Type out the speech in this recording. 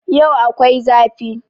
Yau akwai zafi